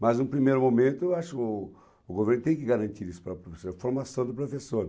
Mas, no primeiro momento, eu acho o o governo tem que garantir isso para o professor, a formação do professor.